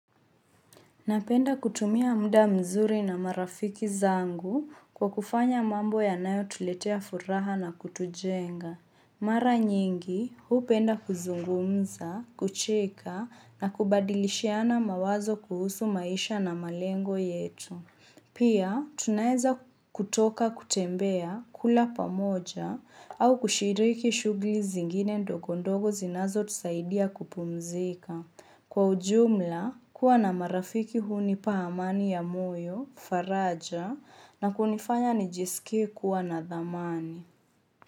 Napenda kutumia muda mzuri na marafiki zangu kwa kufanya mambo yanayo tuletea furaha na kutujenga. Mara nyingi, hupenda kuzungumza, kucheka na kubadilishiana mawazo kuhusu maisha na malengo yetu. Pia, tunaeza kutoka kutembea kula pamoja au kushiriki shugli zingine ndogo ndogo zinazo tusaidia kupumzika. Kwa ujumla, kuwa na marafiki hunipa amani ya moyo, faraja, na kunifanya ni jisike kuwa na dhamani.